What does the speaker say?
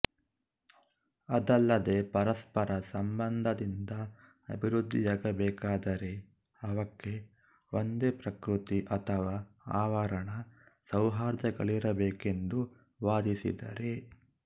ಅದಲ್ಲದೆ ಪರಸ್ಪರಸಂಬಂಧದಿಂದ ಅಭಿವೃದ್ಧಿಯಾಗಬೇಕಾದರೆ ಅವಕ್ಕೆ ಒಂದೇ ಪ್ರಕೃತಿ ಅಥವಾ ಆವರಣ ಸೌಹಾರ್ದಗಳಿರಬೇಕೆಂದು ವಾದಿಸಿದ್ದಾರೆ